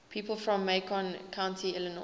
people from macon county illinois